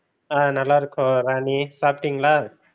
ஆஹ் நல்லா இருக்கோம் ராணி சாப்டீங்களா?